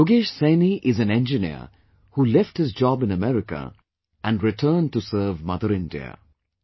Yogesh Saini is an engineer who left his job in America and returned to serve Mother India